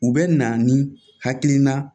U bɛ na ni hakilina